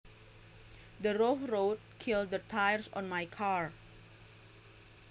The rough road killed the tires on my car